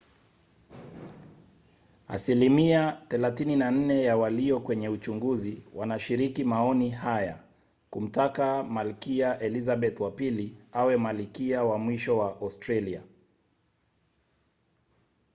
asilimia 34 ya walio kwenye uchunguzi wanashiriki maoni haya kumtaka malkia elizabeth wa ii awe malikia wa mwisho wa australia